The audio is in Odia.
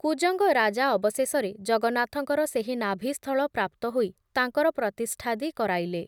କୁଜଙ୍ଗ ରାଜା ଅବଶେଷରେ ଜଗନ୍ନାଥଙ୍କର ସେହି ନାଭିସ୍ଥଳ ପ୍ରାପ୍ତ ହୋଇ ତାଙ୍କର ପ୍ରତିଷ୍ଠାଦି କରାଇଲେ